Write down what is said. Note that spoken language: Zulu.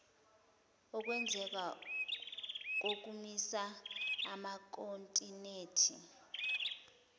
ukwenzeka kokumisa amakhontinethi